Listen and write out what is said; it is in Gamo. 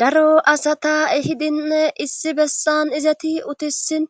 Daro asata ehidinne issi bessan izati utissin